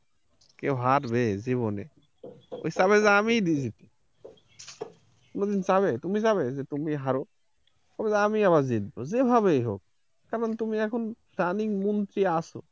কেউ হারবে জীবনে ও চাবে যে আমি জিতি, কেউ কি চাবে তুমি চাবে তুমি রাহো? বলবে আমি আবার জিতবো যেভাবেই হোক যেমন তুমি এখন running মন্ত্রী আছো